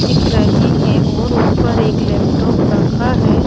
दिख रहे है और ऊपर एक लैपटॉप रखा हैं ।